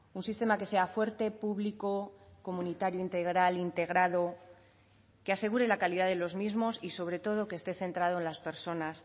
un sistema que sea fuerte público comunitario integral integrado que asegure la calidad de los mismos y sobre todo que esté centrado en las personas